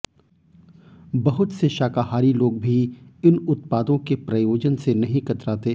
बहुत से शाकाहारी लोग भी इन उत्पादों के प्रयोजन से नहीं कतराते